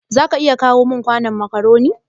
za ka iya kawo min kwanon macaroni.